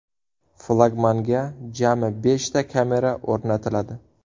Flagmanga jami beshta kamera o‘rnatiladi.